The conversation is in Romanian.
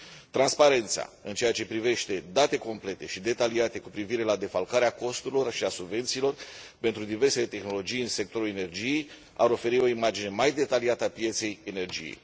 Transparența în ceea ce privește date complete și detaliate cu privire la defalcarea costurilor și a subvențiilor pentru diversele tehnologii în sectorul energiei ar oferi o imagine mai detaliată a pieței energiei.